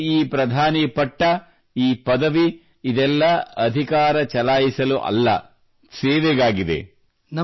ನನಗೆ ಈ ಪ್ರಧಾನಿ ಪಟ್ಟ ಈ ಪದವಿ ಇದೆಲ್ಲ ಅಧಿಕಾರ ಚಲಾಯಿಸಲು ಅಲ್ಲ ಸೇವೆಗಾಗಿದೆ